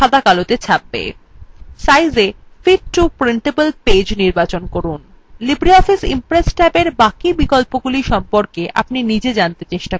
সাইজএ fit to printable page নির্বাচন করুন libre office impress ট্যাবের বাকি বিকল্পগুলি সম্পর্কে আপনি size জানতে চেষ্টা করুন